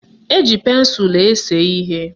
Eji pensụlụ ese ihe.